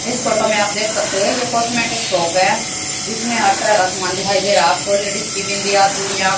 इस फोटो में आप देख सकते हैं ये कॉस्मेटिक शॉप है जिसमें हर जगह समान दिखाई दे रहा लेडिज की बिंदिया चूड़ियां।